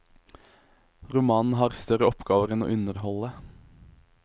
Romanen har større oppgaver enn å underholde.